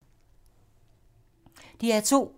DR2